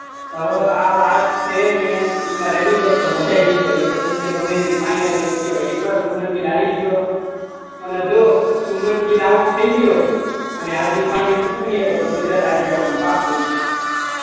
હવે આ last match ઈમાં રમી જાય તો મજા આવી જાય એ તો ગમે તેમ ફાઈનલ મેચ કેમ કે એક વાર રમી તો મેલ આવી ગયો અને જો સુભમાન ગીલ ઓઉટ થઇ ગયો અને હાર્દિક પંડ્યા તો તો ગુજરાત હારી ગયા પાકું છે